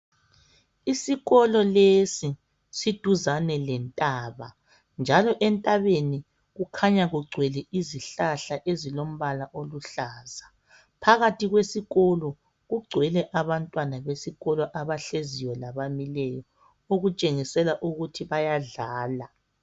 Isikolo lesi siduzane lentaba, njalo entabeni kukhanya kugcwele izihlahla ezilombala oluhlaza. Phakathi kwesikolo kugcwele abantwana besikolo abahleziyo labamileyo, okutshengisela ukuthi bayadlala.